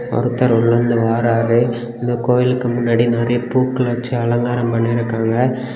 ஒருத்தர் உள்லுந்து வாராரு இந்த கோயிலுக்கு முன்னாடி நெறைய பூக்கள் வச்சி அலங்காரம் பண்ணிருக்காங்க.